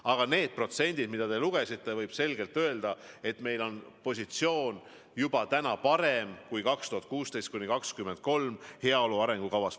Aga need protsendid, mis te ette lugesite – jah, võib selgelt öelda, et meie positsioon on täna juba parem, kui aastate 2016–1023 heaolu arengukavas kirjas on.